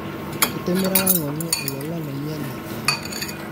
kitimiraka ngole ololaa loinyele taa